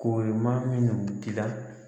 Ko ye maa minnu dila